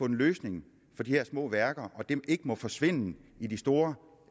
en løsning for de her små værker og at de ikke må forsvinde i de store